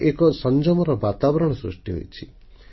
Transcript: ଏବେ ଏକ ସଂଯମର ବାତାବରଣ ସୃଷ୍ଟି ହୋଇଛି